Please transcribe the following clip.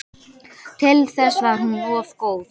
Til þess var hún of góð.